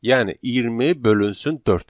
Yəni 20 bölünsün 4.